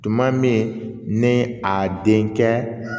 Tuma min ne a den kɛ